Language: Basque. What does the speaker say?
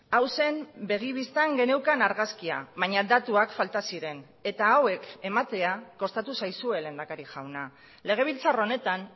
hau zen begi bistan geneukan argazkia baina datuak falta ziren eta hauek ematea kostatu zaizue lehendakari jauna legebiltzar honetan